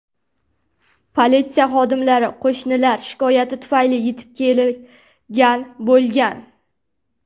Politsiya xodimlari qo‘shnilar shikoyati tufayli yetib kelgan bo‘lgan.